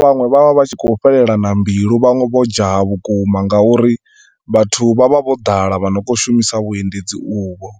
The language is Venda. vhanwe vha tshi khou fhelelana mbilu, vhanwe vho dzhaya vhukuma nga uri vhathu vha vha vho ḓala vhane vha khou shumisa vhuendedzi uvho.